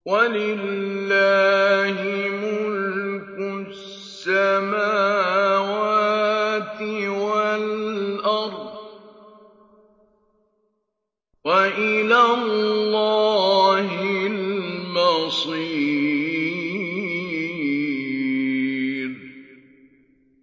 وَلِلَّهِ مُلْكُ السَّمَاوَاتِ وَالْأَرْضِ ۖ وَإِلَى اللَّهِ الْمَصِيرُ